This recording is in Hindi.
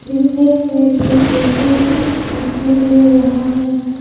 सोफा सेट दिखाई दे रहा है।